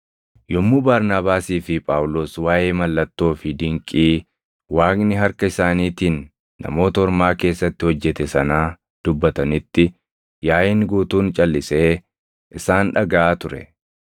Yommuu Barnaabaasii fi Phaawulos waaʼee mallattoo fi dinqii Waaqni harka isaaniitiin Namoota Ormaa keessatti hojjete sanaa dubbatanitti yaaʼiin guutuun calʼisee isaan dhagaʼaa ture.